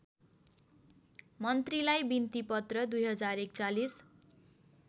मन्त्रीलाई बिन्तीपत्र २०४१